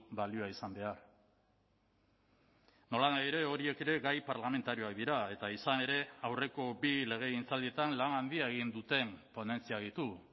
balioa izan behar nolanahi ere horiek ere gai parlamentarioak dira eta izan ere aurreko bi legegintzaldietan lan handia egin duten ponentziak ditu